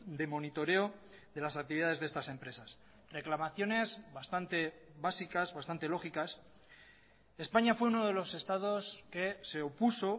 de monitoreo de las actividades de estas empresas reclamaciones bastante básicas bastante lógicas españa fue uno de los estados que se opuso